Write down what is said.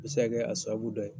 bɛ se ka kɛ a sababu dɔ ye.